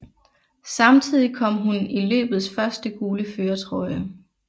Samtidig kom hun i løbets første gule førertrøje